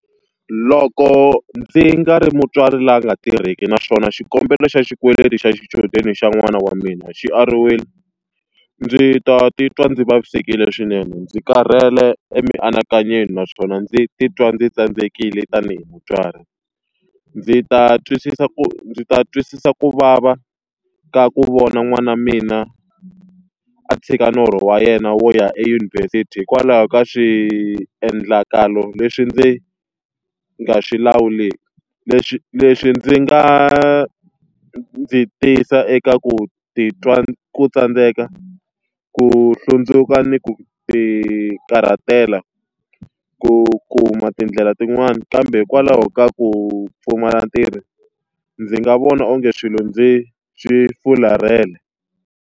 Loko ndzi nga ri mutswari loyi a nga tirheki naswona xikombelo xa xikweleti xa xichudeni xa n'wana wa mina xi ariwile, ndzi ta titwa ndzi vavisekile swinene, ndzi karhele emianakanyweni naswona ndzi titwa ndzi tsandzekile tanihi mutswari. Ndzi ta twisisa ku ndzi ta twisisa ku vava ka ku vona n'wana mina a tshika norho wa yena wo ya eyunivhesiti hikwalaho ka swiendlakalo leswi ndzi nga swi lawuleki. Leswi leswi ndzi nga ndzi tisa eka ku titwa ku tsandzeka, ku hlundzuka ni ku tikarhatela ku kuma tindlela tin'wana. Kambe hikwalaho ka ku pfumala ntirho, ndzi nga vona onge swilo ndzi swi furhalela.